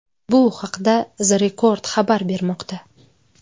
Bu haqda The Record xabar bermoqda .